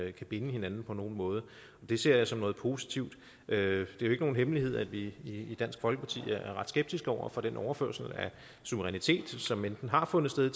ikke kan binde hinanden på nogen måde det ser jeg som noget positivt det er jo ikke nogen hemmelighed at vi i dansk folkeparti er ret skeptiske over for den overførsel af suverænitet til eu som enten har fundet sted